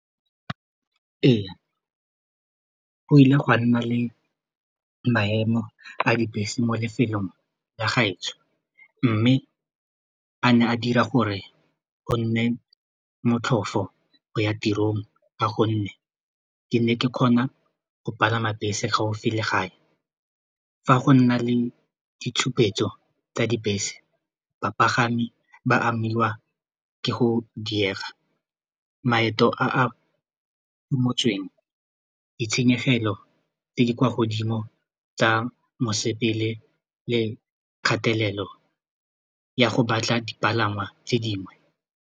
Ee, go ile gwa nna le maemo a dibese mo lefelong la gaetsho mme a ne a dira gore go nne motlhofo go ya tirong ka gonne ke ne ke kgona go palama bese gaufi le gae fa go nna le ditshupetso tsa dibese, bapagami ba amiwa ke go diega maeto a a ungwetseng ditshenyegelo tse di kwa godimo tsa mosepele le kgatelelo ya go batla dipalangwa tse dingwe.